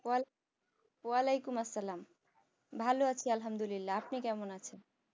ওয়ালাইকুম আসসালাম ভালো আছি আলহামদুলিল্লাহ আপনি কেমন আছেন